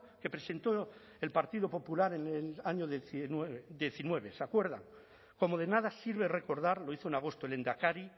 que presentó el partido popular en el año dos mil diecinueve se acuerda como de nada sirve recordar lo hizo en agosto el lehendakari